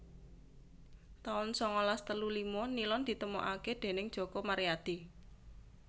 taun sangalas telu lima Nilon ditemokaké déning Joko Maryadi